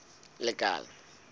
lekala